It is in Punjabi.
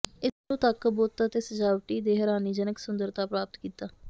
ਇਸ ਨੂੰ ਤੱਕ ਬੁੱਤ ਅਤੇ ਸਜਾਵਟੀ ਦੇ ਹੈਰਾਨੀਜਨਕ ਸੁੰਦਰਤਾ ਪ੍ਰਾਪਤ ਕੀਤਾ